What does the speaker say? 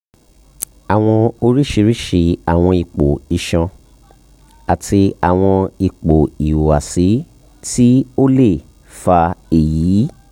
awọn oriṣiriṣi awọn ipo iṣan ati awọn ipo ihuwasi ti o le um fa eyi